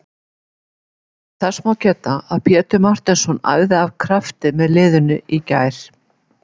Þess má geta að Pétur Marteinsson æfði af krafti með liðinu í gær.